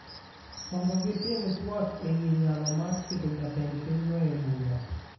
mondo gitim tuak e wi nyalo mar keto jatend pinyno e bura.